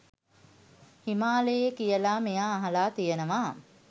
හිමාලයේ කියලා මෙයා අහලා තියෙනවා.